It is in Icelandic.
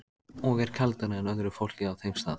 Og er kaldara en öðru fólki á þeim stað.